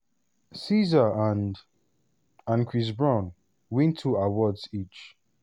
sza and and chris brown win two awards each.